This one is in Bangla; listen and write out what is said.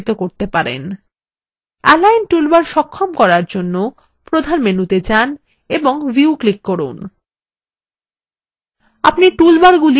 এলাইন টুলবার সক্ষম করার জন্য প্রধান মেনু তে যান এবং view ক্লিক করুন